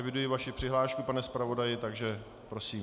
Eviduji vaši přihlášku, pane zpravodaji, takže prosím.